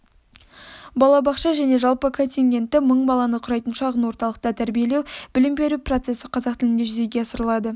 балабақша және жалпы контингенті мың баланы құрайтын шағын орталықта тәрбиелеу-білім беру процесі қазақ тілінде жүзеге асырылады